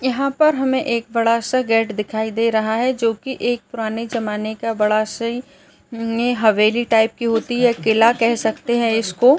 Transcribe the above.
इन्हां पर हमे एक बड़ा सा गेट दिखाई दे रहा है जो कि एक पुराने जमाने का बड़ा सी अम ये हवेली टाइप की होती है किला कह सकते है इसको --